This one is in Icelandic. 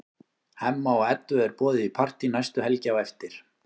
Hemma og Eddu er boðið í partí næstu helgi á eftir.